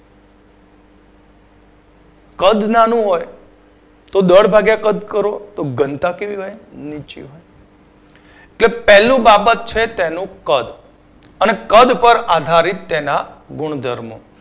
કદ નાનું હોય તો દર ભાગ્યા કદ કરો તો ઘનતા કેવી હોય નીચી હોય કે પહેલું બાબત છે તેનું કદ અને કદ પર આધારિત તેના ગુણધર્મો